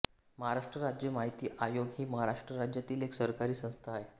महाराष्ट्र राज्य माहिती आयोग ही महाराष्ट्र राज्यातील एक सरकारी संस्था आहे